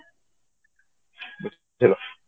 hello